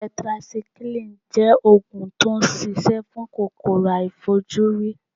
Tẹtirasikílìì jẹ́ Ògùn tí ó ṣi ṣẹ́ fún kòkòrò aàìfojúrí.